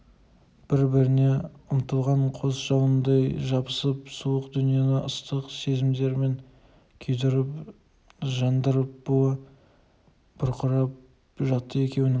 бір-біріне ұмтылған қос жалындай шарпысып суық дүниені ыстық сезімдерімен күйдіріп жандырып буы бұрқырап жатты екеуінің